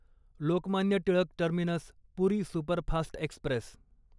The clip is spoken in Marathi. Lokmanya Tilak terminus Puri superfast Express